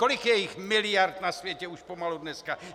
Kolik je jich miliard na světě už pomalu dneska.